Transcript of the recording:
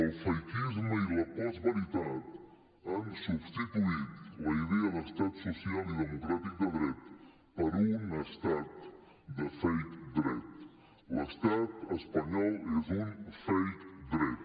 el fakisme i la postveritat han substituït la idea d’estat social i democràtic de dret per un estat de fakel’estat espanyol és un fake dret